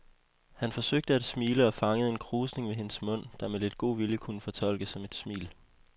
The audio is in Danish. Han forsøgte at smile og fangede en krusning ved hendes mund, der med lidt god vilje kunne fortolkes som et smil.